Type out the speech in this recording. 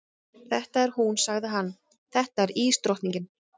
Þetta er hún, sagði hann, þetta er ísdrottningin.